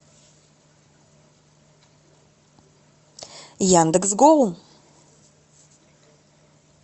яндекс гоу